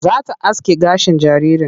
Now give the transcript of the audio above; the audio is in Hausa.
Za ta aske gashin jaririn.